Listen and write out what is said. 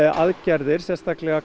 aðgerðir sérstaklega